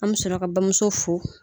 An bɛ sɔrɔ ka bamuso fo